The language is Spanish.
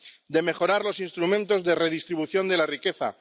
de mejorar los instrumentos de redistribución de la riqueza